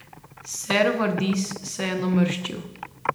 Ser Vardis se je namrščil.